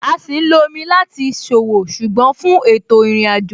A sì lo omi láti ṣòwò, ṣùgbọ́n fún ètò ìrìnàjò.